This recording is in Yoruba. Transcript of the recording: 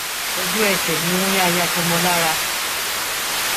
ojú ẹsẹ ni wọn ya ya aṣọ mọ ọn lára